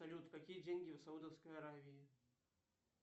салют какие деньги в саудовской аравии